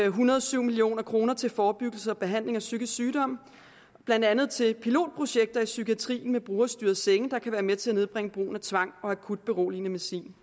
en hundrede og syv million kroner til forebyggelse og behandling af psykisk sygdom blandt andet til pilotprojekter i psykiatrien med brugerstyrede senge der kan være med til at nedbringe brugen af tvang og akut beroligende medicin